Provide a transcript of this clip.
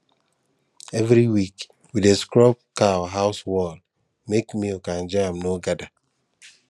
every week we dey scrub cow house wall make milk and germ no gather